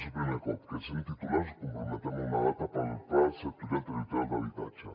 és el primer cop que sent ne titulars ens comprometem a una data per al pla sectorial territorial d’habitatge